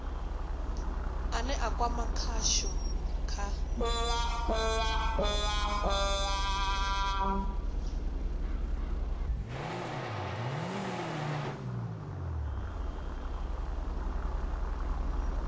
ane a kwama khasho kha